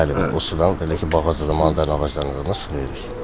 Bəli, bəli, o sudan elə ki, bağçada maladar ağaclarından su veririk.